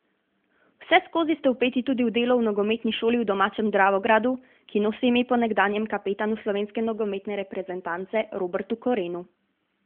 Vseskozi ste vpeti tudi v delo v nogometni šoli v domačem Dravogradu, ki nosi ime po nekdanjem kapetanu slovenske nogometne reprezentance Robertu Korenu.